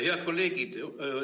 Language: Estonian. Head kolleegid!